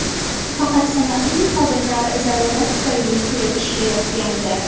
Faqat sanoqli xodimlar zarurat tufayli kelib ishlayotgandi.